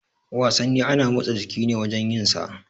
Wasanni ana motsa jiki ne wajan yin sa.